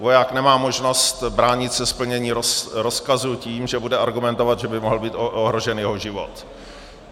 Voják nemá možnost bránit se splnění rozkazu tím, že bude argumentovat, že by mohl být ohrožen jeho život.